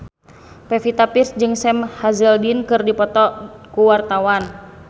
Pevita Pearce jeung Sam Hazeldine keur dipoto ku wartawan